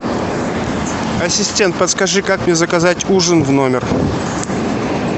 ассистент подскажи как мне заказать ужин в номер